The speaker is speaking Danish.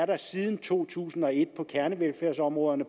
der siden to tusind og et på kernevelfærdsområderne